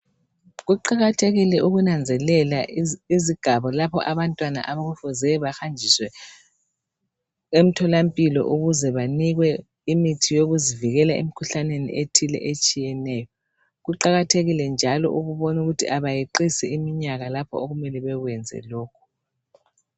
Kuqakathekile ukunanzelela izigaba lapho abantwana okufuze bahanjiswe emtholampilo ukuze banikwe imithi yokuzivikela emkhuhlaneni ethile etshiyeneyo. Kuqakathekile njalo ukubonukuthi abayeqisi iminyaka lapho okumele bekwenze lokhu.